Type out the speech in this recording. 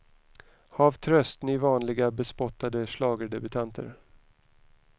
Hav tröst, ni vanliga bespottade schlagerdebutanter.